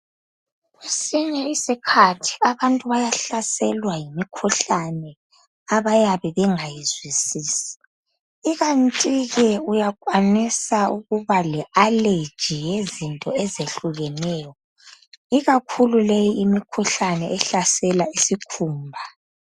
kwesinye isikhathi abantu bayahlaselwa yimikhuhlane abayabe bengayizwisisi ikanti ke uyakwanisa ukuba le allergy yezinto ezihlukeneyo ikakhulu leyi imikhuhlane ehlasela isikhumba